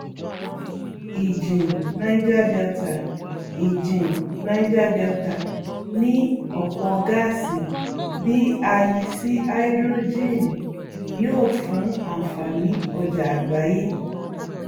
ìjìn niger delta ìjìn niger delta ní ọpọ gáàsì bí a yí sí háídírójìn yóò fún ànfàní ọjà àgbáyé